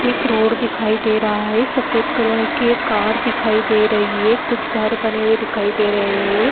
एक रोड दिखाई दे रहा है सफ़ेद कलर की एक कार दिखाई दे रही है कुछ घर बने हुए दिखाई दे रहे हैं।